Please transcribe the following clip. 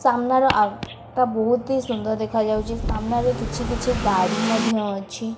ସାମ୍ନାର ଆଉ ତା ବୋହୁତି ସୁନ୍ଦର ଦେଖାଯାଉଚି ସାମ୍ନାରେ କିଛି କିଛି ଗାଡ଼ି ମଧ୍ୟ ଅ --